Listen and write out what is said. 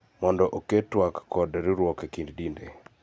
Mondo oket twak kod riwruok e kind dinde